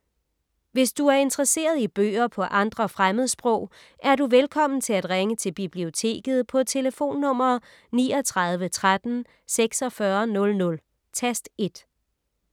Hvis du er interesseret i bøger på andre fremmedsprog, er du velkommen til at ringe til Biblioteket på tlf. 39 13 46 00, tast 1.